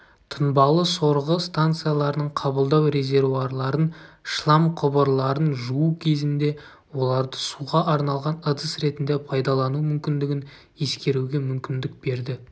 тұнбалы сорғы станцияларының қабылдау резервуарларын шлам құбырларын жуу кезінде оларды суға арналған ыдыс ретінде пайдалану мүмкіндігін ескеруге мүмкіндік берді